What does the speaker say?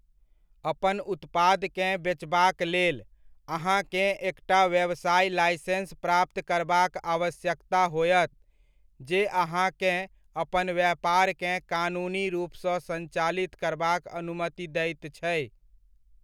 अपन उत्पादकेँ बेचबाक लेल, अहाँकेँ एकटा व्यवसाय लाइसेंस प्राप्त करबाक आवश्यकता होयत, जे अहाँकेँ अपन व्यपारकेँ कानूनी रूपसँ सञ्चालित करबाक अनुमति दैत छै।